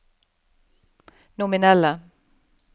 nominelle